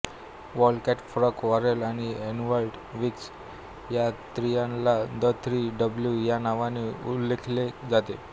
Walcott Frank Worrell आणि Everton Weekes या त्रयीला द थ्री डब्ल्युज या नावाने उल्लेखिले जाते